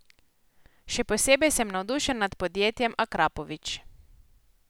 Še posebej sem navdušen nad podjetjem Akrapovič.